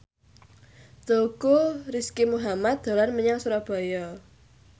Teuku Rizky Muhammad dolan menyang Surabaya